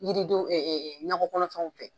Yiri denw ɲakɔ kɔnɔfɛnw fɛ